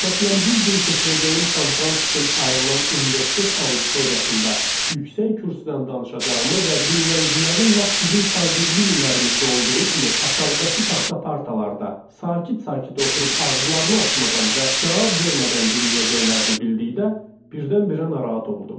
Məsələn, bir gün keçirəcəyim konfrans üçün ayrılan universitet auditoriyasında yüksək kürsüdən danışacağımı və dinləyicilərin lap bizim şagirdlik illərimizdə olduğu kimi aşağıdakı taxta partalarda sakit-sakit oturub ağızlarını açmadan və cavab vermədən dinləyəcəklərini bildikdə, birdən-birə narahat oldum.